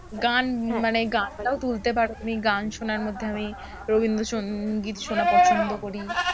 গান মানে গানটাও তুলতে পারো তুমি, গান শোনার মধ্যে আমি রবীন্দ্রসঙ্গীত শোনা পছন্দ করি।